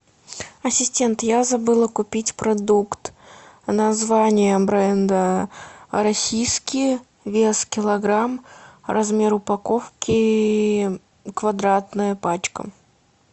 ассистент я забыла купить продукт название бренда российский вес килограмм размер упаковки квадратная пачка